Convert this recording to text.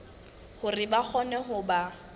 hore ba kgone ho ba